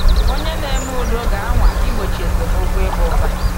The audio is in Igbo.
Onye na-eme udo ga-anwa igbochi esemokwu ịba ụba.